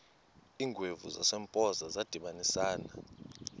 iingwevu zasempoza zadibanisana